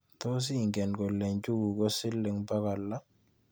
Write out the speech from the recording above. Tos ingen kole njuguk ko siling bokol lo?